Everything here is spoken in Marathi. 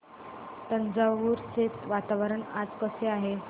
तंजावुर चे वातावरण आज कसे आहे